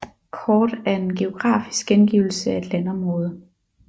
Kort er en geografisk gengivelse af et landområde